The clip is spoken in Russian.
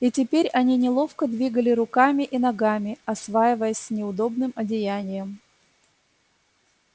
и теперь они неловко двигали руками и ногами осваиваясь с неудобным одеянием